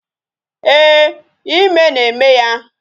Ee, ime na-eme ya